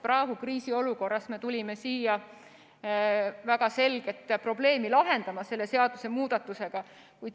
Praegu, kriisiolukorras me tulime siia väga selget probleemi lahendama selle seadusemuudatusega.